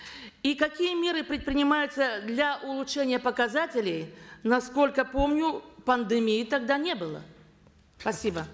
и какие меры предпринимаются для улучшения показателей насколько помню пандемии тогда не было спасибо